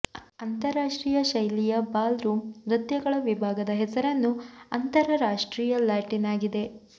ಅಂತರಾಷ್ಟ್ರೀಯ ಶೈಲಿಯ ballroom ನೃತ್ಯಗಳ ವಿಭಾಗದ ಹೆಸರನ್ನು ಅಂತರರಾಷ್ಟ್ರೀಯ ಲ್ಯಾಟಿನ್ ಆಗಿದೆ